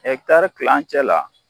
Ɛkitari kilancɛ la